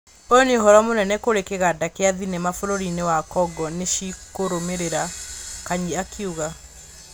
ũyũ nĩ ũhoro mũnene kũrĩ kĩganda kĩa thenema bũrũri-inĩ wa Kongo nĩcikũrũmĩrĩra," Kanyi akiuga.